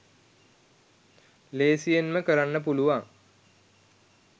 ලේසියෙන්ම කරන්න පුළුවන්